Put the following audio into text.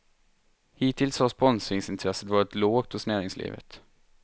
Hittills har sponsorintresset varit lågt hos näringslivet.